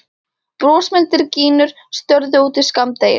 Brosmildar gínur störðu út í skammdegið.